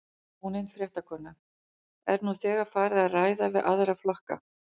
Ónefnd fréttakona: Er nú þegar farið að ræða við aðra flokka?